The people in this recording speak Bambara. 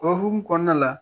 o hunkumu kɔnɔna la